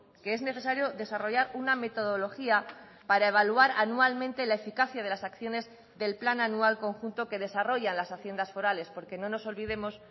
que es necesario desarrollar una metodología para evaluar anualmente la eficacia de las acciones del plan anual conjunto que desarrollan las haciendas forales porque no nos olvidemos